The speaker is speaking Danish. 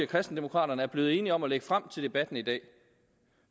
kristendemokraterne er blevet enige om at lægge frem til debatten i dag